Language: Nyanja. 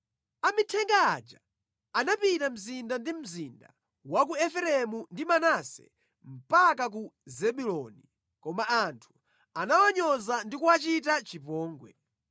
Amithenga aja anapita mzinda ndi mzinda wa ku Efereimu ndi Manase mpaka ku Zebuloni, koma anthu anawanyoza ndi kuwachita chipongwe.